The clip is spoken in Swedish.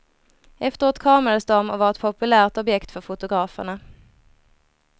Efteråt kramades de och var ett populärt objekt för fotograferna.